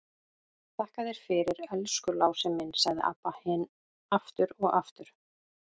Þakka þér fyrir, elsku Lási minn, sagði Abba hin aftur og aftur.